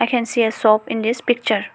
we can see a shop in this picture.